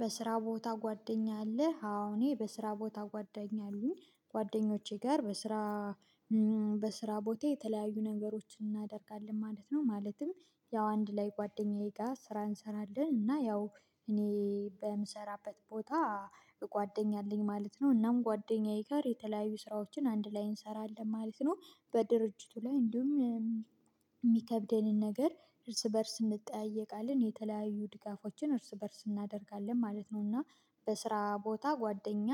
በስራ ቦታህ ጓደኛ አለህ አዎ እኔ በስራ ቦታ ጓደኛ አሉኝ ጓደኞቼ ጋር በስራ በስራ ቦቴ የተለያዩ ነገሮችን እናደርጋለን ማለት ነው። ማለትም ያው አንድ ላይ ጓደኛዬ ጋር ስራ እንሰራለን እና ያው እኔ በምሰራበት ቦታ ጓደኛ ኣለኝ ማለት ነው እናም ከጓደኛዬ ጋር የተለያዩ ስራዎችን አንድ ላይ እንሰራለን ማለት ነው። በድርጅቱ ላይ እንዲሁም የሚከብደንን ነገር እርስ በእርስ እንጠያየቃለን የተለያዩ ድጋፎችን እርስ በእርስ እናደርጋለን ማለት ነው እና በስራ ቦታ ጓደኛ